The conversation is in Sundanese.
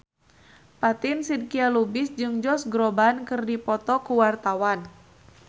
Fatin Shidqia Lubis jeung Josh Groban keur dipoto ku wartawan